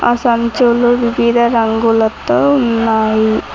ఆ సంచులు వివిధ రంగులతో ఉన్నాయి